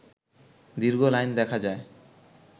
দীর্ঘ লাইন দেখা যায়